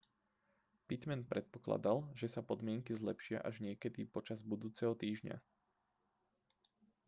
pittman predpokladal že sa podmienky zlepšia až niekedy počas budúceho týždňa